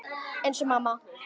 Eins og mamma.